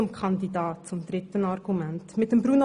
Nun zum dritten Argument, dem Kandidaten.